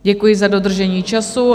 Děkuji za dodržení času.